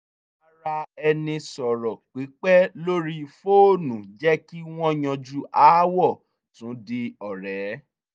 ìbáraẹnisọ̀rọ̀ pípẹ́ lórí fóònù jẹ́ kí wọ́n yanjú aáwọ̀ tún di ọ̀rẹ́